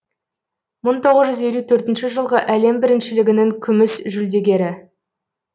мың тоғыз жүз елу төртінші жылғы әлем біріншілігінің күміс жүлдегері